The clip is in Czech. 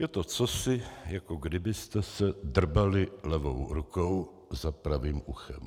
Je to cosi, jako kdybyste se drbali levou rukou za pravým uchem.